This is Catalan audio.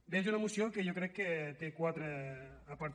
bé és una moció que jo crec que té quatre apartats